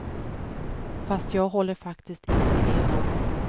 Fast jag håller faktiskt inte med dem.